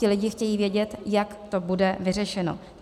Ti lidé chtějí vědět, jak to bude vyřešeno.